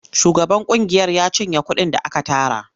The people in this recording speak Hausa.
Shugaban ƙungiyar ya cinye kuɗin da aka tara.